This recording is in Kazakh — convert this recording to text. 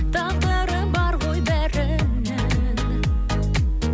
тағдыры бар ғой бәрінің